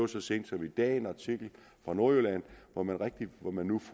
så sent som i dag en artikel fra nordjylland hvor man nu man nu